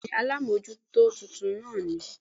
Béèni alámójútó titun ní